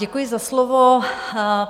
Děkuji za slovo.